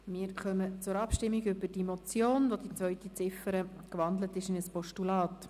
Wir kommen zur Abstimmung über diese Motion, deren zweite Ziffer in ein Postulat umgewandelt worden ist.